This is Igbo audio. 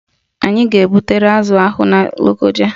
Anyị ga-ebutere azụ ahụ na Lokoja